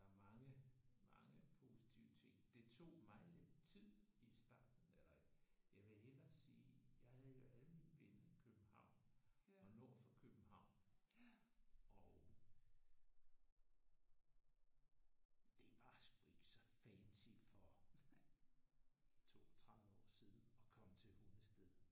Der er mange mange positive ting. Det tog mig lidt tid i starten eller jeg vil hellere sige jeg havde jo alle mine venner i København og nord for København og det var sgu ikke så fancy for 32 år siden at komme til Hundested